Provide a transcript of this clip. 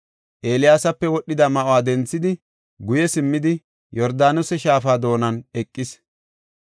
Eeliyaasape wodhida ma7uwa denthidi, guye simmidi, Yordaanose Shaafa doonan eqis.